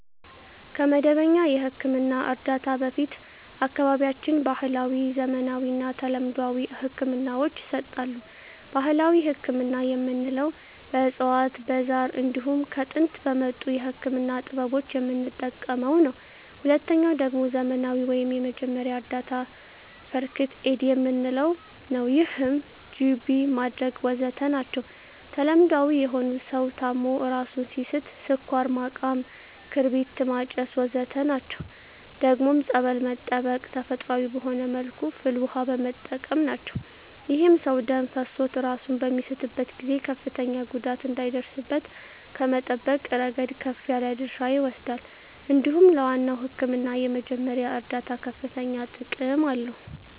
ከመደበኛ የሕክምና እርዳታ በፊት በአካባቢያችን ባህለዊ፣ ዘመናዊና ተለምዷዊ ህክምናወች ይሰጣሉ። ባህላዊ ህክምና የምንለዉ በእፅዋት በዛር እንዲሁም ከጥንት በመጡ የህክምና ጥበቦች የምንጠቀመዉ ነዉ። ሁለተኛዉ ደግሞ ዘመናዊ ወይም የመጀመሪያ እርዳታ(ፈርክት ኤድ) የምንለዉ ነዉ ይህም ጅቢ ማድረግ ወዘተ ናቸዉ። ተለምዳዊ የሆኑት ሰዉ ታሞ እራሱን ሲስት ስኳር ማቃም ክርቢት ማጨስ ወዘተ ናቸዉ። ደግሞም ፀበል በመጠመቅ ተፈጥሮአዊ በሆነ መልኩ ፍል ዉሃ በመጠቀም ናቸዉ። ይህም ሰዉ ደም ፈሶት እራሱን በሚስትበት ጊዜ ከፍተኛ ጉዳት እንዳይደርስበት ከመጠበቅ እረገድ ከፍ ያለ ድርሻ ይወስዳል እንዲሁም ለዋናዉ ህክምና የመጀመሪያ እርዳታ ከፍተኛ ጥቅም አለዉ።